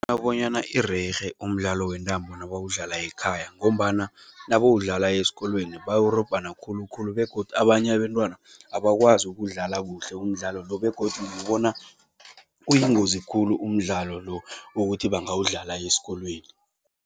bonyana irerhe umdlalo wentambo nabawudlala ekhaya ngombana nabawudlala esikolweni bawurobhana khulukhulu begodu abanye abentwana abakwazi ukuwudlala kuhle umdlalo lo begodu ngibona uyingozi khulu umdlalo lo ukuthi bangawudlala esikolweni.